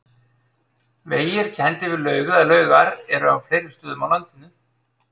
Vegir kenndir við laug eða laugar eru á fleiri stöðum á landinu.